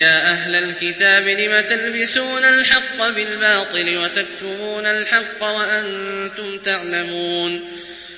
يَا أَهْلَ الْكِتَابِ لِمَ تَلْبِسُونَ الْحَقَّ بِالْبَاطِلِ وَتَكْتُمُونَ الْحَقَّ وَأَنتُمْ تَعْلَمُونَ